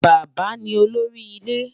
Bàbá ni olórí ilẹ̀